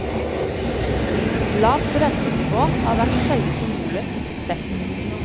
Et lavt rentenivå har vært selve symbolet på suksessen.